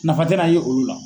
Nafa te na ye olu la.